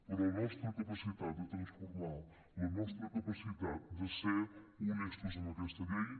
però la nostra capacitat de transformar la nostra capacitat de ser honestos amb aquesta llei